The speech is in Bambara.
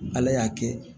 Ala y'a kɛ